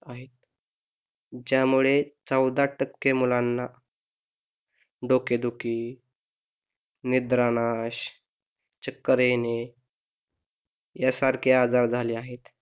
ज्यामुळे चौदा टक्के मुलांना डोकेदुखी निद्रानाश, चक्कर येणे या सारखे आजार झाले आहेत.